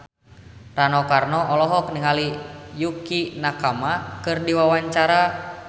Rano Karno olohok ningali Yukie Nakama keur diwawancara